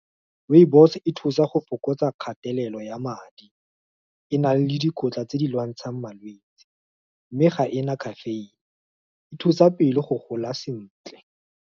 Rooibos e thusa go fokotsa kgatelelo ya madi, e na le dikotla tse di lwantshang malwetsi, mme ga ena caffeine-e thusa pele go gola sentle.